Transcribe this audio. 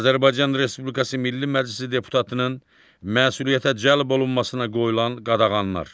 Azərbaycan Respublikası Milli Məclisi deputatının məsuliyyətə cəlb olunmasına qoyulan qadağanlar.